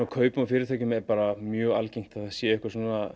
kaupum á fyrirtækjum er mjög algengt að það séu einhver svona